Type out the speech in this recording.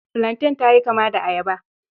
Filantain ta yi kama da ayaba.